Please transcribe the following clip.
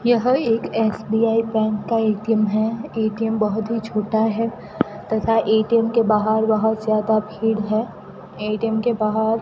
यह एक SBI bank का ए_टी_एम है ए_टी_एम बहुत ही छोटा है तथा ए_टी_एम के बाहर बहुत ज्यादा भीड़ है ए_टी_एम के बाहर--